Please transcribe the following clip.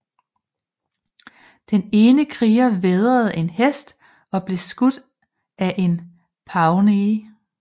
Den ene kriger vædrede en hest og blev skudt af en pawnee